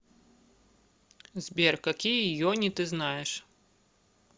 сбер какие йони ты знаешь